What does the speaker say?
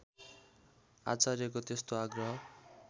आचार्यको त्यस्तो आग्रह